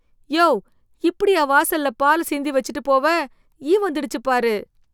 யோவ், இப்படியா வாசல்ல பாலை சிந்தி வெச்சுட்டு போவ? ஈ வந்துடுச்சு பாரு.